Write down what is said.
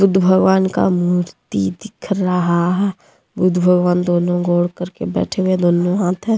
बुद्ध भगवान का मूर्ति दिख रहा है बुद्ध भगवान दोनों गोड़ करके बैठे हुए है दोनों हाथ है।